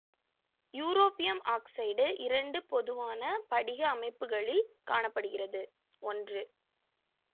europium oxide இரண்டு பொதுவான படிக அமைப்புகளில் காண படுகிறது ஒன்று